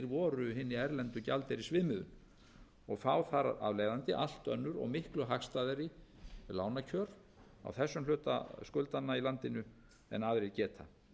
voru hinni erlendu gjaldeyrisvinnu og fá þar af leiðandi allt önnur og miklu hagstæðari lánakjör á þessum hluta skuldanna í landinu en aðrir geta